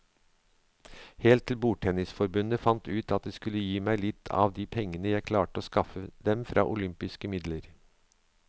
Helt til bordtennisforbundet fant ut at de skulle gi meg litt av de pengene jeg klarte å skaffe dem fra olympiske midler.